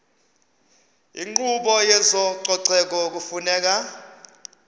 inkqubo yezococeko kufuneka